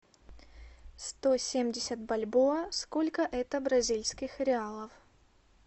сто семьдесят бальбоа сколько это бразильских реалов